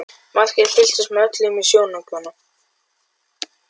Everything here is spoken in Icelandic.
Margrét fylgdist með öllu í sjónaukanum.